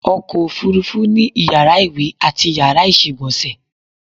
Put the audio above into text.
Ọkọ̀ òfúrufú ni Iyàrá ìwè ati Iyàrá ìsègbònsè